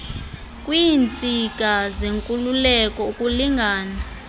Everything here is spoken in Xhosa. kwiintsika zenkululeko ukulingana